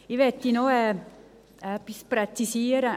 Ich möchte noch etwas präzisieren: